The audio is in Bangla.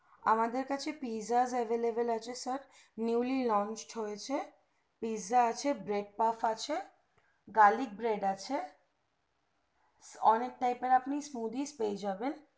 আমাদের কাছে pizzas available আছে sir newly launched হয়েছে pizza আছে bread paff আছে garlic bread আছে অনেক type এর আপনি smoodie পেয়ে যাবেন